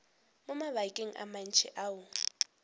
mo mabakeng a mantši o